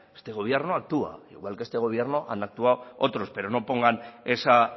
este gobierno actúa igual que este gobierno han actuado otros pero no pongan esa